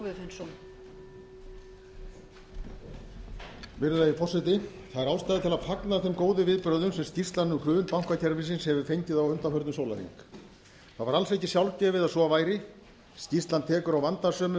ástæða til að fagna þeim góðu viðbrögðum sem skýrslan um hrun bankakerfisins hefur fengið á undanförnum sólarhring það var alls ekki sjálfgefið að svo væri ísland tekur á vandasömum